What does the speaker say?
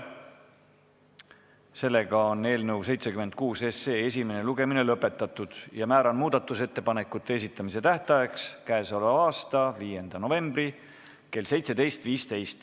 Sellega on eelnõu 76 esimene lugemine lõpetatud ja määran muudatusettepanekute esitamise tähtajaks k.a 5. novembri kell 17.15.